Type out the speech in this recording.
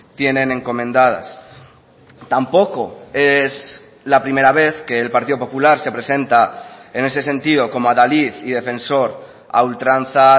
tienen encomendadas tampoco es la primera vez que el partido popular se presenta en ese sentido como adalid y defensor a ultranza